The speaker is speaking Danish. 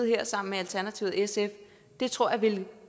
her sammen med alternativet og sf det tror jeg ville